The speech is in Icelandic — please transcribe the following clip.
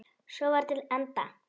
Svo var til enda.